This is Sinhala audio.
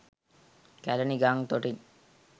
කැළණි ගං තොටින්